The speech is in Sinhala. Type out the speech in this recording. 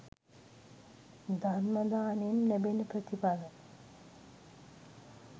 ධර්ම දානයෙන් ලැබෙන ප්‍රථිඵල